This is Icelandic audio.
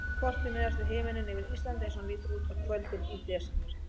Kortið miðast við himininn yfir Íslandi eins og hann lítur út á kvöldin í desember.